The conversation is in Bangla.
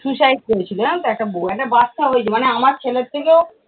suicide করেছিল জানো তো একটা বৌ, কেটে বাচ্চাও হয়েছে মানে আমার ছেলের থেকেও